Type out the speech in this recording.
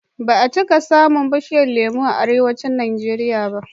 Ba a cika samun bishiyar lemo a Arewacin Najeriya ba.